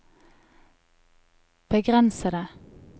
begrensede